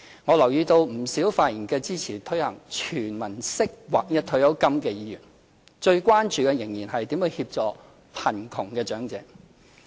我留意到不少發言支持推行"全民式"劃一退休金的議員，最關注的仍是如何協助貧窮長者。